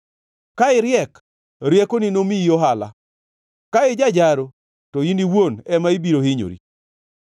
Ka iriek, riekoni nomiyi ohala, ka ijajaro, to in iwuon ema ibiro hinyori.